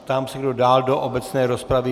Ptám se, kdo dál do obecné rozpravy.